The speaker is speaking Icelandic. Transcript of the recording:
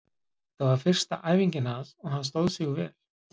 Þetta var fyrsta æfingin hans og hann stóð sig vel.